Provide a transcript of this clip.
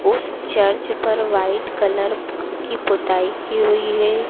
उस चर्च पर white colour की पुताई की हुई है।